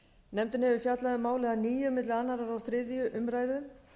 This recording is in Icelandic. nefndin hefur fjallað um málið að nýju milli annars og þriðju umræðu